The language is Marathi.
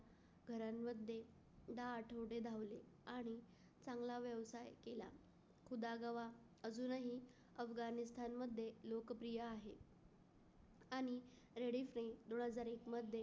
घरांमध्ये दहा आठवडे धावले आणि चांगला व्यवसाय केला. खुदागवा अजूनही अफगाणिस्तानमध्ये लोकप्रिय आहे. आणि Reddif दोन हजार एक मध्ये